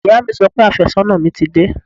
Ìyá mi sọ pé àfẹ́sọ́nà mi ti dé